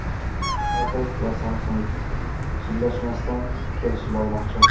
Apple va Samsung sudlashmasdan kelishib olmoqchi.